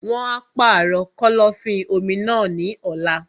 Wọn á pàrọ̀ kọ́lọ́fín-omi náà ní ọ̀la.